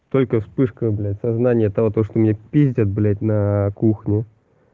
только вспышка блять сознание того то что меня пиздят блять на кухне